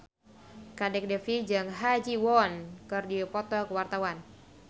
Kadek Devi jeung Ha Ji Won keur dipoto ku wartawan